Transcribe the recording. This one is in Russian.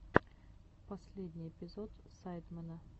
последний эпизод сайдмена